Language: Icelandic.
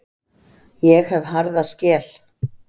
Ég hef harða skel.